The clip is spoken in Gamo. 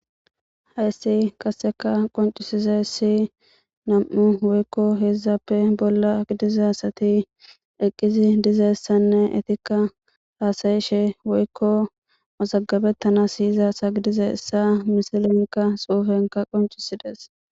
heyssi kasseka qoncisize hssi nam7u woykko heedzzappe bolla gidizasati eqqisi dizeyssanne etikka haasayishe woykko mozagabettana siyiza sagidize issa misilenka xuufenka qoncisides